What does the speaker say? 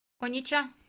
онича